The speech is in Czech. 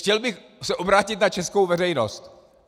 Chtěl bych se obrátit na českou veřejnost.